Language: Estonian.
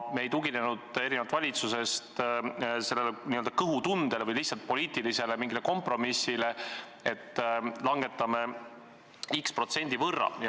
Me ei tuginenud erinevalt valitsusest n-ö kõhutundele või lihtsalt mingisugusele poliitilisele kompromissile, et langetame x protsendi võrra.